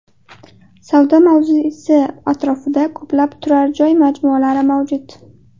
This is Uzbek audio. Savdo mavzesi atrofida ko‘plab turar joy majmualari mavjud.